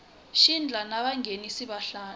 xandla na vanghenisi va xandla